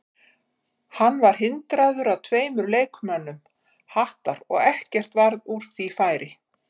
Hann var hindraður af tveimur leikmönnum Hattar og ekkert varð úr því færi.